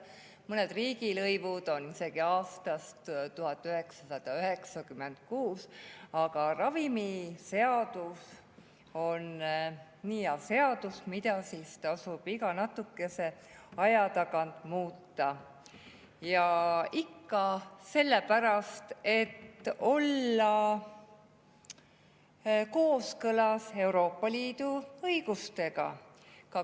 Mõned riigilõivud on isegi aastast 1996, aga ravimiseadus on nii hea seadus, mida siis tasub iga natukese aja tagant muuta, ja ikka sellepärast, et olla kooskõlas Euroopa Liidu õigusega.